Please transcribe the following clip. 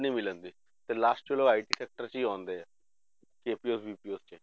ਨਹੀਂ ਮਿਲਦੀ ਤੇ last ਚਲੋ IT sector 'ਚ ਹੀ ਆਉਂਦੇ ਹੈ, 'ਚ